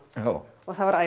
og það var